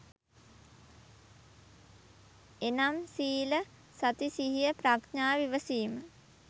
එනම් සීල, සති සිහිය ප්‍රඥාව, ඉවසීම